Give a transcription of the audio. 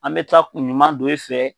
An mɛ taa kun ɲuman don i fɛ